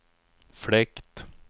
fläkt